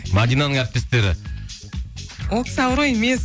мәдинаның әріптестері ол кісі ауру емес